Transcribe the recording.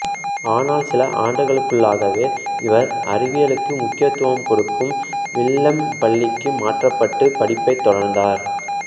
ஆனால் சில ஆண்டுகளுக்குள்ளாகவே இவர் அறிவியலுக்கு முக்கியத்துவம் கொடுக்கும் வில்லெம் பள்ளிக்கு மாற்றப்பட்டு பஃடிப்பைத் தொடர்ந்தார்